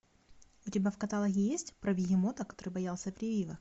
у тебя в каталоге есть про бегемота который боялся прививок